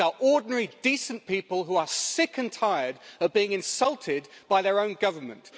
These are ordinary, decent people, who are sick and tired of being insulted by their own Government.